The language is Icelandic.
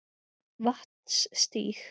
Vatnsstíg